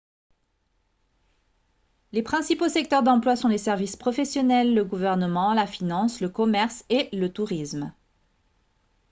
les principaux secteurs d'emploi sont les services professionnels le gouvernement la finance le commerce et le tourisme